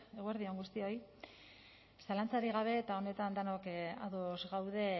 eguerdi on guztioi zalantzarik gabe eta honetan denok ados gaude